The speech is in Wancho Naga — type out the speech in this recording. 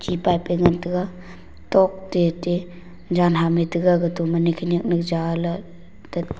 ti pipe pe ngan tega tok te te jan ham me tega gato mene khanyak ne ja la tat--